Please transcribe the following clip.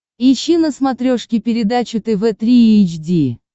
ищи на смотрешке передачу тв три эйч ди